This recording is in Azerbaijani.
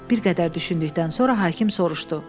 Bir qədər düşündükdən sonra hakim soruşdu.